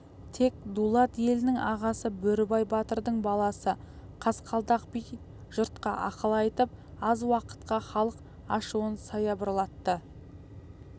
тек дулат елінің ағасы бөрібай батырдың баласы қасқалдақ би жұртқа ақыл айтып аз уақытқа халық ашуын саябырлатты